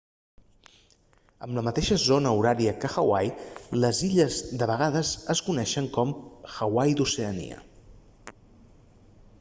amb la mateixa zona horària que hawaii les illes de vegades es coneixen com hawaii d'oceania